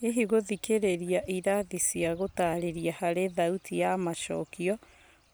Hihi gũthikĩrĩria ĩrathi cia gũtarĩria harĩ thauti ya macokio